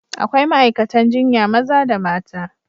Akwai ma'aikatan jinya maza da mata.